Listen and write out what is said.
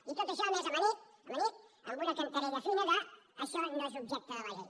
i tot això a més amanit amanit amb una cantarella fina d’ això no és objecte de la llei